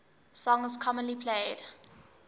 songs commonly played